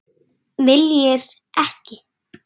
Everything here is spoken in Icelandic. Viljir ekki.